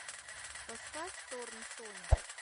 поставь торн соня